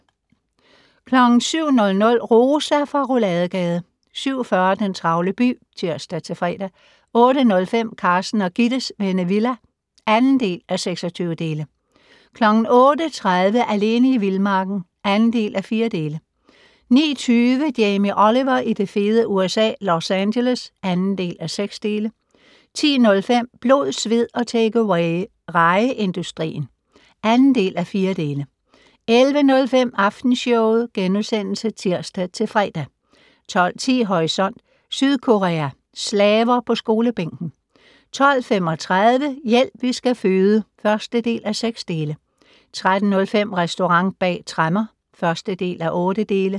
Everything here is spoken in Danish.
07:00: Rosa fra Rouladegade 07:40: Den travle by (tir-fre) 08:05: Carsten og Gittes Vennevilla (2:26) 08:30: Alene i vildmarken (2:4) 09:20: Jamie Oliver i det fede USA - Los Angeles (2:6) 10:05: Blod, sved og takeaway - rejeindustrien (2:4) 11:05: Aftenshowet *(tir-fre) 12:10: Horisont: Sydkorea - slaver på skolebænken 12:35: Hjælp, vi skal føde (1:6) 13:05: Restaurant bag tremmer (1:8)